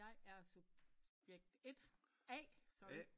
Jeg er subjekt 1 A sorry